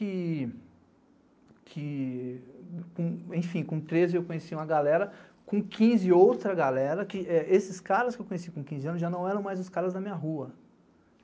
Enfim, com treze eu conheci uma galera, com quinze outra galera, que esses caras que eu conheci com quinze anos já não eram mais os caras da minha rua.